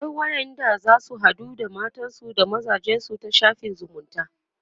akwai wayanda zasu haɗu da matansu da mazajensu ta shafin zumunta